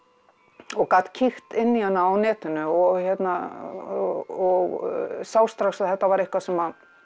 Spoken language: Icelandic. og gat kíkt inn í hana á netinu og og sá strax að þetta var eitthvað sem